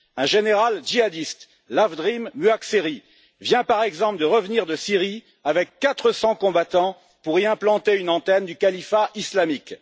Un général djihadiste, Lavdrim Muhaxheri, vient, par exemple, de revenir de Syrie avec 400 combattants pour y implanter une antenne du califat islamique.